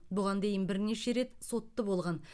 бұған дейін бірнеше рет сотты болған